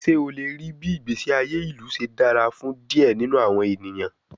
Ṣe o le rii bii igbesi aye ilu ṣe dara fun diẹ ninu awọn eniyan?